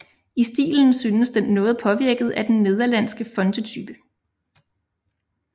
I stilen synes den noget påvirket af den nederlandske fontetype